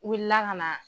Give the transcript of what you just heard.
U wilila ka na